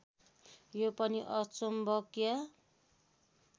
यो पनि अचुम्बकिय